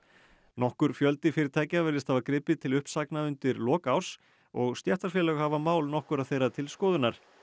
nokkur fjöldi fyrirtækja virðist hafa gripið til uppsagna undir lok árs og stéttarfélög hafa mál nokkurra þeirra til skoðunar